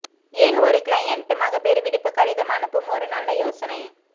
ஏன் ஒரு கிளையண்ட் மகப்பேறு விடுப்பு கடிதம் அனுப்பும் ஒரு நல்ல யோசனை